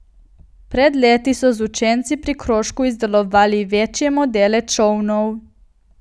Pred leti so z učenci pri krožku izdelovali večje modele čolnov.